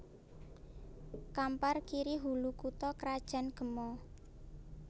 Kampar Kiri Hulu kutha krajan Gema